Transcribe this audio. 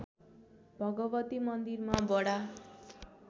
भगवती मन्दिरमा बडा